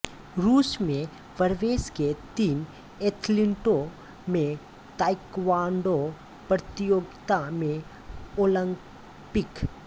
रूस में प्रवेश के तीन एथलीटों में ताइक्वांडो प्रतियोगिता में ओलंपिक